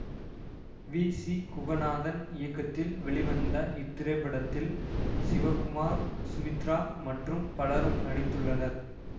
we C Kuganathan இயக்கத்தில் வெளிவந்த இத்திரைப்படத்தில் சிவகுமார் சுமித்ரா மற்றும் பலரும் நடித்துள்ளனர்